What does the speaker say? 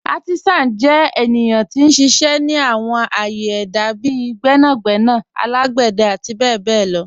Àrtísán jẹ́ ènìyàn tí n ṣiṣẹ́ ni àwọn ạ̀yẹ̀ èdá bíì gbẹ̀nàgbẹ̀nà alágbẹ̀dẹ̀ àti bẹ̀bẹ̀ lọ.